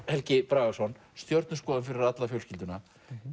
Helgi Bragason stjörnuskoðun fyrir alla fjölskylduna